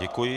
Děkuji.